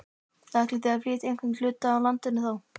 Ætlið þið að flytja einhvern hluta úr landi þá?